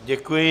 Děkuji.